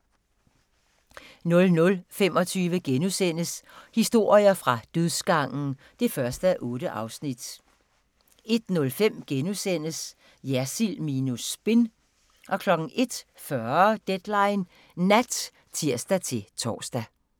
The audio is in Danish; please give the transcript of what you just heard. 00:25: Historier fra dødsgangen (1:8)* 01:05: Jersild minus spin * 01:40: Deadline Nat (tir-tor)